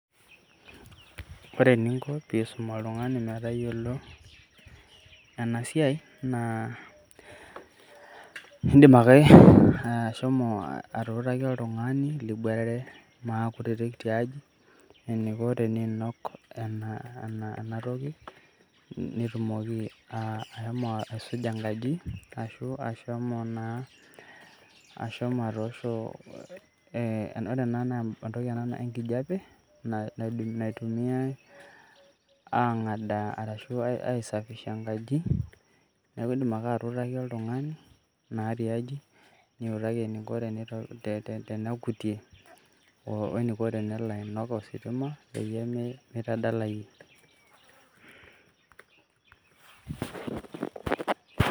Ore eninko pee isum oltung'ani metayiolo ena siai naa iindim ake ashomo atuutaki oltung'ani liboitare maakutitik tiaji eniko teniinok ena toki netumoki ashomo aisuja enkaji ashu ashomo ataoosho ee, ore ena naa entoki enkijiape naitumiyai aang'adaa arashu aisafisha enkaji, neeku iindim ake atuutaki oltung'ani naa tiaji, niutaki eniko tenekutie oo eniko tenelo ainok ositima peyie mitadalayie.